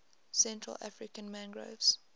central african mangroves